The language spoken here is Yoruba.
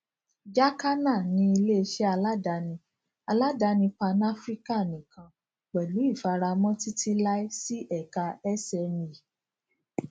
jacana ni ileiṣẹ aladani aladani panafrican nikan pẹlu ifaramọ titilai si eka sme